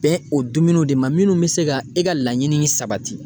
Bɛn o dumuniw de ma. Minnu be se ka e ka laɲini in sabati.